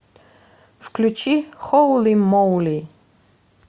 включи холи моли